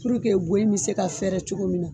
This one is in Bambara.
go in mi se ka fɛɛrɛ cogo min na ?